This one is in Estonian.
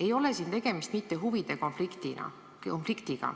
ei ole tegemist mitte huvide konfliktiga?